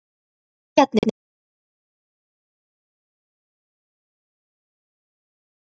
Ræningjarnir ætluðu honum að fara til Kaupmannahafnar á fund